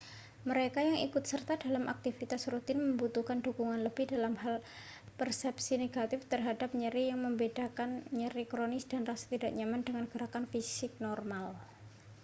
mereka yang ikut serta dalam aktivitas rutin membutuhkan dukungan lebih dalam hal persepsi negatif terhadap nyeri yang membedakan nyeri kronis dan rasa tidak nyaman dari gerakan fisik normal